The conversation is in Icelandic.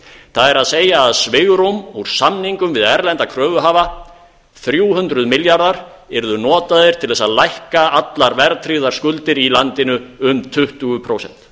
það er svigrúm úr samningum við erlenda kröfuhafa þrjú hundruð milljarðar yrðu notaðir til að lækka allar verðtryggðar skuldir í landinu um tuttugu prósent